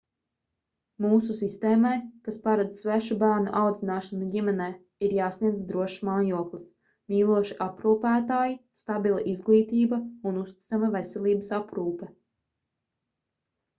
mūsu sistēmai kas paredz svešu bērnu audzināšanu ģimenē ir jāsniedz drošs mājoklis mīloši aprūpētāji stabila izglītība un uzticama veselības aprūpe